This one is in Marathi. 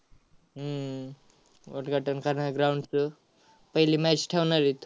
हम्म उद्घाटन करण्या~ ground चं. पहिली match ठेवणार आहेत.